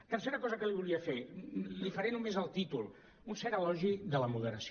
tercera cosa que li volia fer li faré només el títol un cert elogi de la moderació